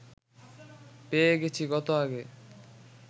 পেয়ে গেছি কত আগে